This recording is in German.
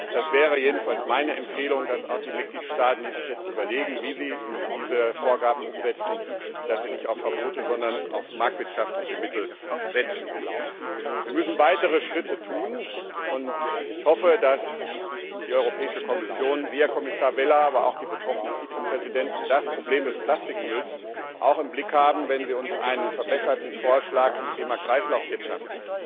Das wäre jedenfalls meine Empfehlung, dass auch die Mitgliedstaaten, die sich jetzt überlegen, wie sie diese Vorgaben umsetzen, nicht auf Verbote, sondern auf marktwirtschaftliche Mittel setzen. Wir müssen weitere Schritte tun, und ich hoffe, dass die Europäische Kommission, Sie, Herr Kommissar Vella, aber auch die betroffene Vizepräsidentin das Problem des Plastikmülls auch im Blick haben, wenn Sie uns im Herbst einen verbesserten Vorschlag zum Thema Kreislaufwirtschaft